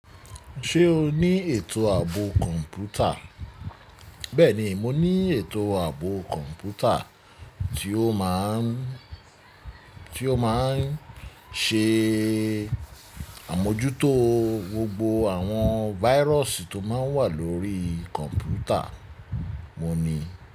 Ṣé o ní ètò ààbò kọ̀ǹpútà? Bẹ́ẹ̀ni, mo ní ètò ààbò computer tí ó máa ń, tí ó máa ń ṣe àmójútó gbogbo àwọn virus tó máa ń wà lórí computer mo ni.